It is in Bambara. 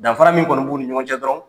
Danfara min kɔni b'u ni ɲɔgɔn cɛ dɔrɔn